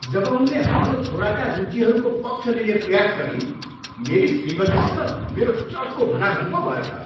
जब उनले हाम्रो छोराका रुचिहरूको पक्ष लिने प्रयास गरिन् मेरी श्रीमतीसित मेरो चर्को भनाभन पो भयो त।